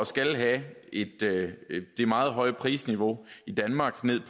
skal have det meget høje prisniveau i danmark ned